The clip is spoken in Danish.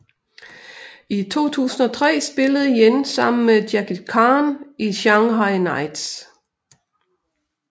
I 2003 spillede Yen sammen med Jackie Chan i Shanghai Knights